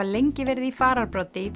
lengi verið í fararbroddi í